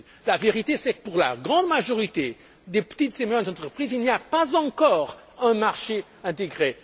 La vérité c'est que, pour la grande majorité des petites et moyennes entreprises, il n'y a pas encore un marché intégré.